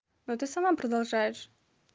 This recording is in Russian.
ну ты сама продолжаешь